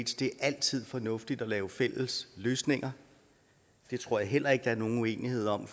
det er altid fornuftigt at lave fælles løsninger det tror jeg heller ikke der er nogen uenighed om